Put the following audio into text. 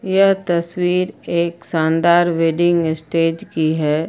यह तस्वीर एक शानदार वेडिंग स्टेज की है।